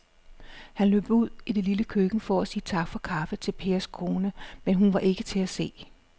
Han løb ud i det lille køkken for at sige tak for kaffe til Pers kone, men hun var ikke til at se.